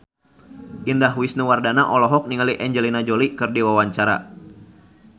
Indah Wisnuwardana olohok ningali Angelina Jolie keur diwawancara